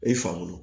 O ye fakolo